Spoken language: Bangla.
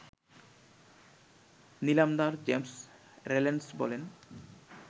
নিলামদার জেমস রেল্যান্ডস বলেন